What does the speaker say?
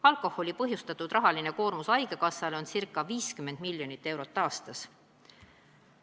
Alkoholist põhjustatud rahaline koormus haigekassale on ca 50 miljonit eurot aastas.